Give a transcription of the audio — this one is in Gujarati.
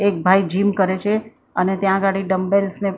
એક ભાઈ જીમ કરે છે અને ત્યાં અગાડી ડમ્બેલ્સ ને--